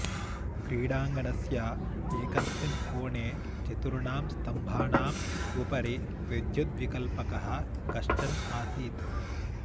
क्रीडाङ्गनणस्य एकस्मिन् कोणे चतुर्णां स्तम्भानाम् उपरि विद्युद्विकल्पकः कश्चन आसीत्